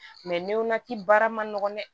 baara ma nɔgɔ dɛ